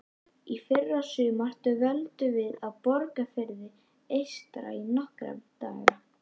Í fyrrasumar dvöldum við á Borgarfirði eystra í nokkra daga.